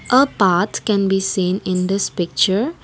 a path can be seen in this picture.